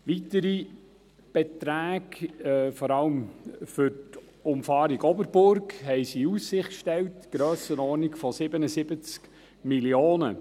Weitere Beträge, in der Grössenordnung von 77 Mio. Franken, stellten sie vor allem für die Umfahrung Oberburg in Aussicht.